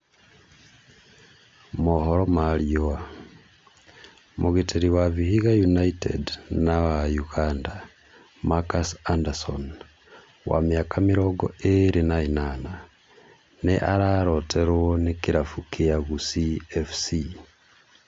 (Mohoro ma Riũa) Mũgiteri wa Vihiga United na wa Ũganda, Marcus Anderson, wa mĩaka mĩrongo ĩĩrĩ na ĩnana, nĩ araroteruo ni kĩlafu kĩa Gusii FC.